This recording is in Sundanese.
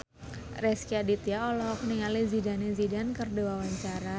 Rezky Aditya olohok ningali Zidane Zidane keur diwawancara